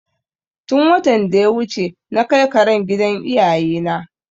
Tun watan da ya wuce na kai karen gida iyaye na